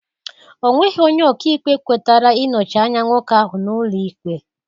Ọ nweghị onye ọkaikpe kwetara ị nọchi anya nwoke ahụ n'ụlọ ikpe